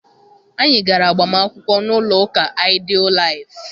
Anyị gara agbamakwụkwọ n'ụlọ ụka Ideal Life.